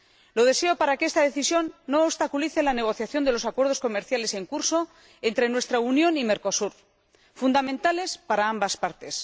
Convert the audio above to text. Lo deseo para que esta decisión no obstaculice la negociación de los acuerdos comerciales en curso entre nuestra Unión y Mercosur, fundamentales para ambas partes.